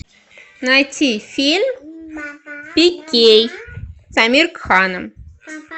найти фильм пикей с амир кханом